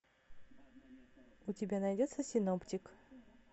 у тебя найдется синоптик